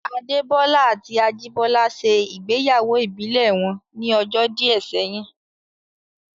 Adé Bọ́lá àti Ajìbọ́lá ṣe ìgbéyàwó ìbílẹ̀ wọn ní ọjọ́ díẹ̀ sẹ́yìn